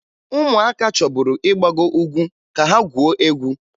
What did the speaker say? Ụmụaka chọburu ịgbago ugwu ka ha gwuo egwu